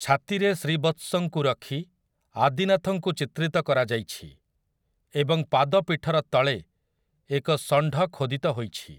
ଛାତିରେ ଶ୍ରୀବତ୍ସଙ୍କୁ ରଖି ଆଦିନାଥଙ୍କୁ ଚିତ୍ରିତ କରାଯାଇଛି, ଏବଂ ପାଦପୀଠର ତଳେ ଏକ ଷଣ୍ଢ ଖୋଦିତ ହୋଇଛି ।